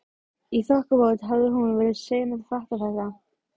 Í þokkabót hafði hún verið sein að fatta þetta.